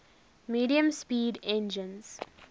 medium speed engines